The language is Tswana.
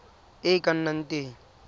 e e ka nnang teng